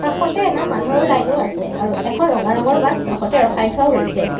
কাষতে এটা মানুহৰ লাইন ও আছে আৰু এখন ৰঙা ৰঙৰ বাছ কাষতে ৰখাই থোৱাও হৈছে।